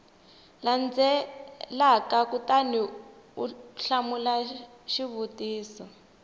landzelaka kutani u hlamula xivutiso